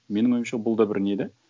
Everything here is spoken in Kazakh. менің ойымша бұл да бір не де